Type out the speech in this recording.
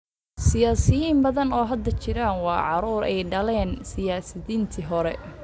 Siyaasiyiin badan oo hadda jira waa caruur ay dhaleen siyaasiyiintii hore.